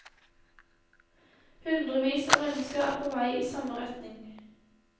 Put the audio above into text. Hundrevis av mennesker er på vei i samme retning.